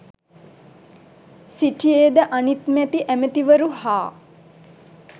සිටියේද අනිත් මැති ඇමැතිවරු හා